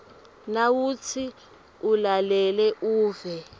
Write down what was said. nawutsi ulalele uve